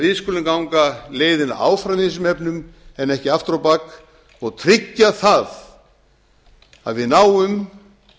við skulum því ganga leiðina áfram í þessum efnum en ekki aftur á bak og tryggja það að við náum